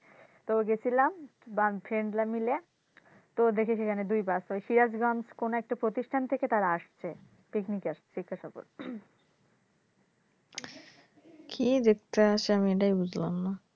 তো গেছিলাম friend রা মিলে তো দেখেছি ওখানে দুই bus ওই সিরাজগঞ্জ কোনো একটি প্রতিষ্ঠান থেকে তারা আসছে picnic এ জিজ্ঞেসা করতে কী দেখতে আসে আমি এটাই বুঝলাম না